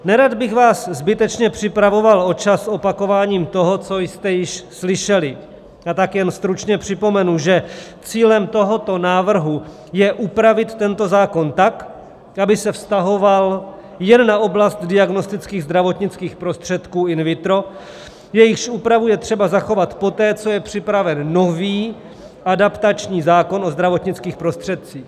Nerad bych vás zbytečně připravoval o čas opakováním toho, co jste již slyšeli, a tak jen stručně připomenu, že cílem tohoto návrhu je upravit tento zákon tak, aby se vztahoval jen na oblast diagnostických zdravotnických prostředků in vitro, jejichž úpravu je třeba zachovat poté, co je připraven nový adaptační zákon o zdravotnických prostředcích.